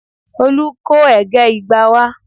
Olu kó ẹ̀gẹ́ igba wá